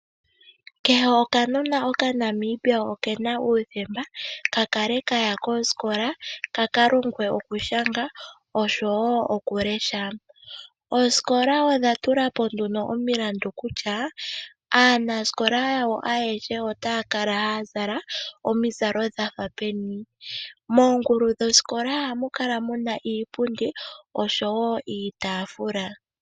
Kehe okanona okaNamibia okena uuthemba ka kale kaya kosikola ka kalongwe okushanga oshowo okulesha. Oosikola odha tula po nduno omilandu kutya aanasikola yawo ayehe otaya kala haya zala omizalo dha peni. Moongulu dhosikola ohamu kala muna iipundi niitafula.